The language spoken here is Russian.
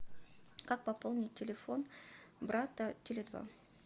как пополнить телефон брата теле два